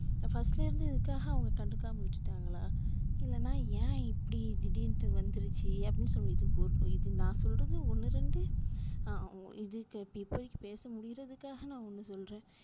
first லருந்து இதுக்காக அவங்க கண்டுக்காம விட்டுட்டாங்களா இல்லைனா ஏன் இப்படி திடிர்னுட்டு வந்துடுச்சு அப்டின்னு சொல்லிட்டு இது நா சொல்றது ஒன்னு ரெண்டு ஆஹ் இப்போதிக்கு பேச முடியுறதுக்காக நா ஒன்னு சொல்றேன்